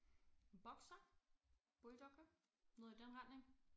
En Boxer? Bulldog? Noget i den retning